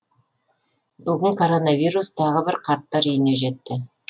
бүгін коронавирус тағы бір қарттар үйіне жетті